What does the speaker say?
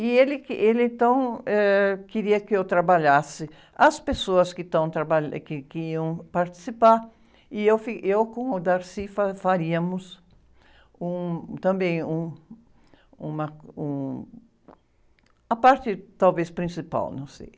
E ele que, ele, então, ãh, queria que eu trabalhasse as pessoas que estão traba, que, que iam participar e eu com o faríamos um, também, um, uma, um... A parte, talvez, principal, não sei.